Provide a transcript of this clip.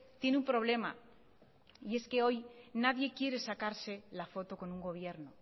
tiene un problema y es que hoy nadie quiere sacarse la foto con un gobierno